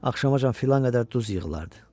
Axşamacan filan qədər duz yığılardı.